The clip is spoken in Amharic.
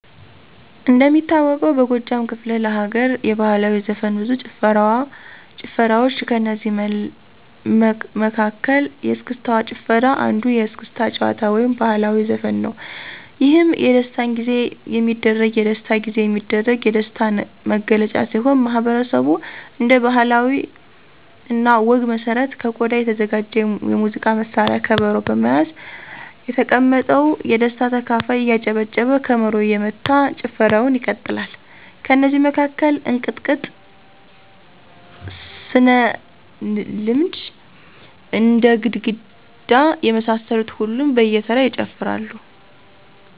እንደሚታወቀው በጎጃም ክፍለ ለገርየባህላዊ ዘፈን ብዙ ጭፈራዋ ጭፈራዋች ከእነዚህ መለ መሀከል የስክስታጭፈራ አንዱየስክስታ ጭዋታ ወይም ባህልዊ ዘፈንነዉ። የህም የደስታጊዜ የሚደረግ የደሥታ ጊዜየሚደረግ የደሥታ ነግለጫ ሲሆን ማህበረሠቡ እንደ ባህለ እኔ ወግ መሠረት ከቆዳ የተዘጋጀ የሙዚቃ መሳሪያ ከበሮ በመያዝ የተቀመጠው የደስታ ተካፋይ እያጨበጨበ ከበሮ እየመታ ጭፈረዉን ይቀጥላል። ከነዚ መካከል እንቅጥቅጥ፣ ስገሐልድም፣ አደግድግ የመሳሰሉትን ሁሉም በየተራ ይጨፍራሉ።